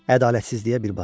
Ədalətsizliyə bir bax!